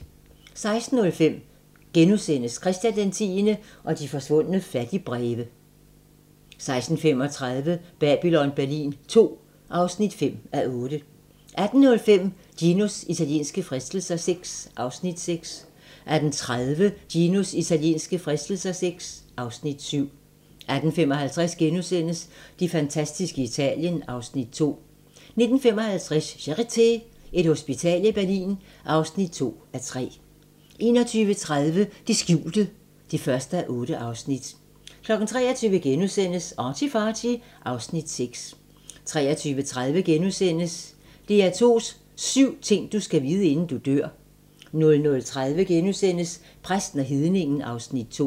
16:05: Christian X og de forsvundne fattigbreve (Afs. 5)* 16:35: Babylon Berlin II (5:8) 18:05: Ginos italienske fristelser VI (Afs. 6) 18:30: Ginos italienske fristelser VI (Afs. 7) 18:55: Det fantastiske Italien (Afs. 2)* 19:55: Charité - Et hospital i Berlin (2:3) 21:30: Det skjulte (1:8) 23:00: ArtyFarty (Afs. 6)* 23:30: DR2s syv ting du skal vide, inden du dør * 00:30: Præsten og hedningen (Afs. 2)*